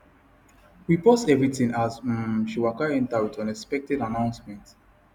we pause everything as um she waka enter with unexpected announcement